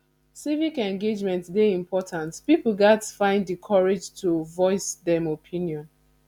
civic engagement dey important pipo gatz find di courage to voice dem opinion